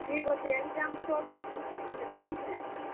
ଠିକ୍ ଅଛେ exam ସରୁ ମୁଇଁ ଯଉଛେଁ।